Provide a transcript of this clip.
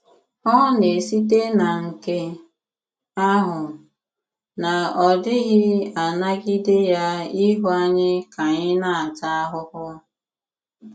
Ọ na-esìtè na nke àhụ, na ọ̀ dịghị̀ anàgìdé ya ịhụ ànyị̀ ka ànyị̀ na-àtà àhụhụ.